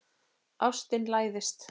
Ástin læðist.